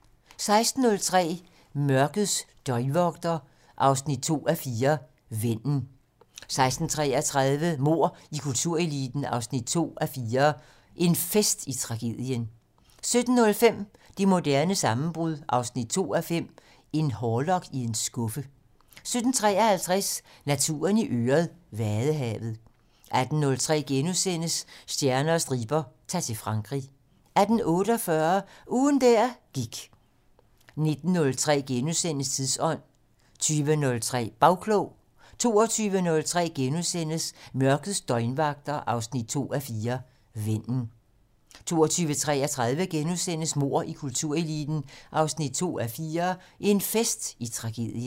16:03: Mørkets døgnvagter 2:4 - Vennen 16:33: Mord i kultureliten 2:4 - En fest i tragedien 17:05: Det moderne sammenbrud 2:5 - En hårlok i en skuffe 17:53: Naturen i øret: Vadehavet 18:03: Stjerner og striber - Ta'r til Frankrig * 18:48: Ugen der gik 19:03: Tidsånd * 20:03: Bagklog 22:03: Mørkets døgnvagter 2:4 - Vennen * 22:33: Mord i kultureliten 2:4 - En fest i tragedien *